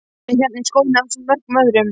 Hún er hérna í skóginum ásamt mörgum öðrum.